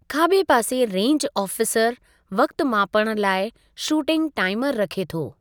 खाॿे पासे रेंज आफ़ीसरु वक़्ति मापणु लाइ शूटिंग टाइमर रखे थो।